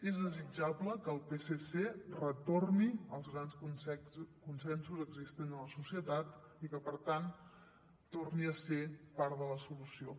és desitjable que el psc retorni als grans consensos existents en la societat i que per tant torni a ser part de la solució